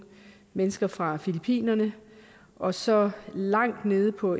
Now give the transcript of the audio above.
mennesker fra filippinerne og så langt nede på